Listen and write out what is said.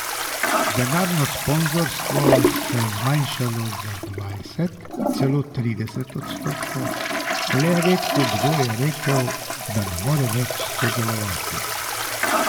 Denarno sponzorstvo se je zmanjšalo za dvajset, celo trideset odstotkov, a le redko kdo je rekel, da ne more več sodelovati.